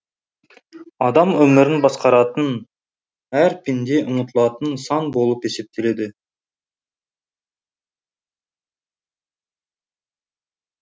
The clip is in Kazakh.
адам өмірін басқаратын әр пенде ұмтылатын сан болып есептеледі